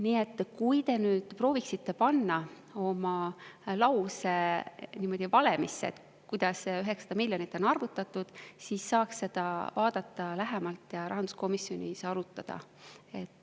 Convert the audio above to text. Nii et kui te prooviksite panna oma lause valemisse, kuidas see 900 miljonit on arvutatud, siis saaks seda vaadata lähemalt ja rahanduskomisjonis arutada.